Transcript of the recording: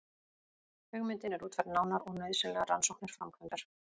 Hugmyndin er útfærð nánar og nauðsynlegar rannsóknir framkvæmdar.